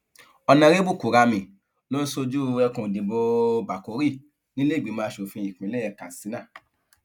ónàrẹbù kùramì ló ń ṣojú ẹkùn ìdìbò bákórì nílé ìgbìmọ asòfin ìpínlẹ katsina